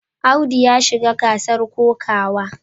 Audu ya shiga gasar kokawa.